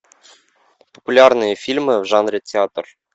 популярные фильмы в жанре театр